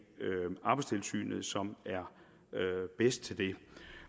arbejdstilsynet som er bedst til det